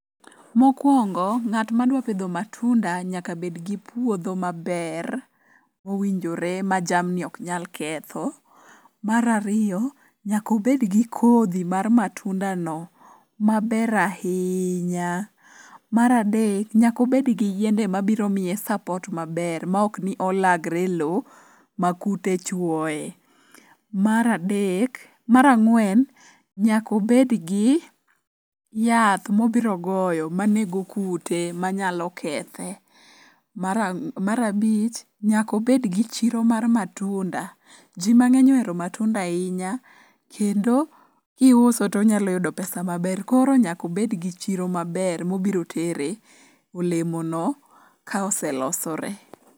Mokwongo ng'at madwa pidho matunda nyaka bedgi puodho maber mowinjore ma jamni oknyal ketho. Mar ariyo nyakobedgi kodhi mar matundano maber ahinya. Mar adek nyakobed gi yiende mabiro miye sapot maber maokni olagre e lo ma kute chwoye. Mar ang'wen, nyakobedgi yath mobirogoyo manego kute manyalo kethe. Mar abich, nyakobedgi chiro mar matunda, ji mang'eny ohero matunda ahinya kendo kiuso tonyalo yudo pesa maber koro nyakobedgi chiro maber mobiro tere olemono ka oselosore.